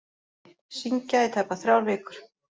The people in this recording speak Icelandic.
Syngja í tæpar þrjár vikur